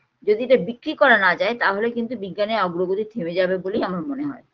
যদি এটা বিক্রি করা না যায় তাহলে কিন্তু বিজ্ঞানের অগ্ৰগতি থেমে যাবে বলেই আমার মনে হয়